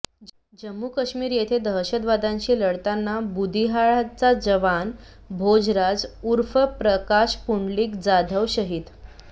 जम्मू काश्मीर येथे दहशतवाद्यांशी लढताना बुदिहाळ चा जवान भोजराज उर्फ प्रकाश पुंडलिक जाधव शहीद